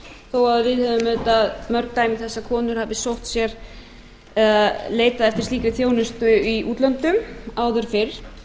þó við höfum auðvitað mörg dæmi þess að konur hafi leitað eftir slíkri þjónustu í útlöndum áður fyrr